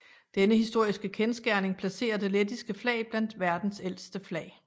Denne historiske kendsgerning placerer det lettiske flag blandt verdens ældste flag